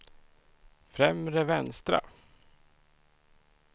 främre vänstra